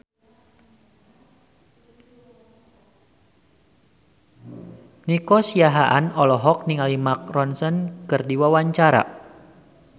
Nico Siahaan olohok ningali Mark Ronson keur diwawancara